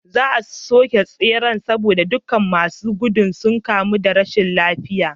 Za a soke tseren saboda duka masu gudu sun kamu da rashin lafiya